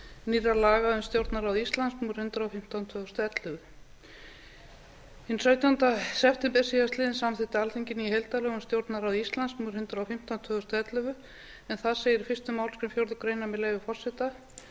nýrra laga um stjórnarráð íslands númer hundrað og fimmtán tvö þúsund og ellefu hinn sautjánda september síðastliðinn samþykkti alþingi ný heildarlög um stjórnarráð íslands númer hundrað og fimmtán tvö þúsund og ellefu en þar segir í fyrstu málsgrein fjórðu grein með leyfi forseta